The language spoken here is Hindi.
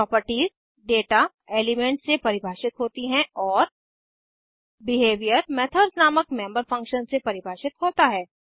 प्रॉपर्टीज दाता एलीमेन्ट्स से परिभाषित होती हैं और बिहेवियर मेथड्स नामक मेम्बर फंक्शन्स से परिभाषित होता है